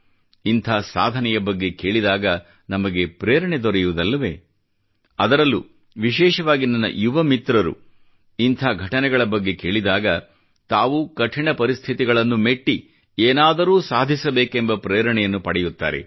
ಇಂಥ ಸಾಧನೆಯ ಬಗ್ಗೆ ಕೇಳಿದಾಗ ನಮಗೆ ಪ್ರೇರಣೆ ದೊರೆಯುವುದಿಲ್ಲವೇ ಅದರಲ್ಲೂ ವಿಶೇಷವಾಗಿ ನನ್ನ ಯುವ ಮಿತ್ರರು ಇಂಥ ಘಟನೆಗಳ ಬಗ್ಗೆ ಕೇಳಿದಾಗ ತಾವೂ ಕಠಿಣ ಪರಿಸ್ಥಿತಿಗಳನ್ನು ಮೆಟ್ಟಿ ಏನಾದರೂ ಸಾಧಿಸಬೇಕೆಂಬ ಪ್ರೇರಣೆಯನ್ನು ಪಡೆಯುತ್ತಾರೆ